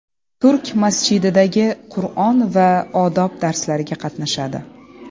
Turk masjididagi Qur’on va odob darslariga qatnashadi.